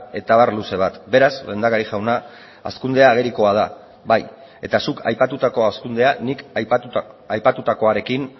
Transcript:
eta abar luze bat beraz lehendakari jauna hazkundea agerikoa da bai eta zuk aipatutako hazkundea nik aipatutakoarekin